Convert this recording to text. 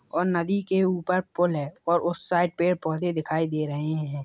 और नदी के ऊपर पूल है और उस साइड पेड़- पौधे दिखाई दे रहे हैं |